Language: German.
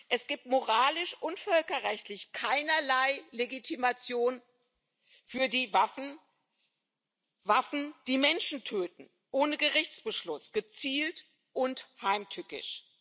Es gibt moralisch und völkerrechtlich keinerlei Legitimation für die Waffen Waffen, die Menschen töten ohne Gerichtsbeschluss, gezielt und heimtückisch.